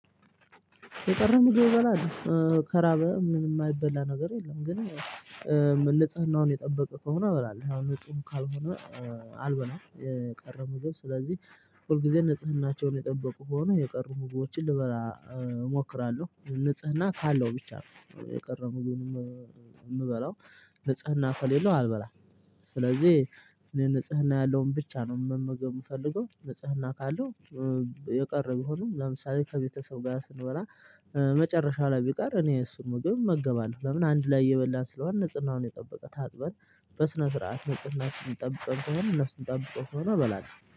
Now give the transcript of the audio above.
የቀረበ ምግብ እበላለሁ ከራበህ ምንም የማይበላ ነገር የለም። ንጽህናውን የጠበቀ ከሆነ እበላለሁ። እቃው ንጹህ ካልሆነ ግን አልበላም። የቀረበው ምግብ ስለዚህ ሁል ጊዜ ንጽህናቸውን የጠበቁ ከሆኑ የቀረቡ ምግቦችን ልበላ እሞክራለሁ ንጽህና ካለው ብቻ ነው የቀረበውን ምግብ የምበላው። ንጽህና ከሌለው አልበላም። ስለዚህ እኔ ንጽህና ያለውን ብቻ ነው መመገብ የምፈልገው። ንጽህና ካለው የቀረ ቢሆንም ለምሳሌ ከቤተሰብ ጋር ስንበላ መጨረሻ ላይ ቢቀር እኔ እሱን እመገባለሁ። ለምን አንድ ላይ እየበላን ስለሆነ ንጽህናውን የጠበቀ ታጥበን በስነ ስርዓት ንጽህናችንን ጠብቀን ከሆነ እነሱም ጠብቀው ከሆነ እበላለሁ።